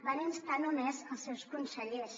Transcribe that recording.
van instar només els seus consellers